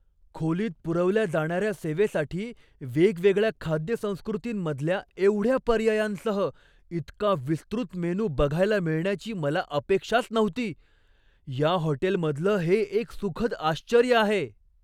खोलीत पुरवल्या जाणाऱ्या सेवेसाठी वेगवेगळ्या खाद्यसंस्कृतींमधल्या एवढ्या पर्यायांसह इतका विस्तृत मेनू बघायला मिळण्याची मला अपेक्षाच नव्हती. या हॉटेलमधलं हे एक सुखद आश्चर्य आहे!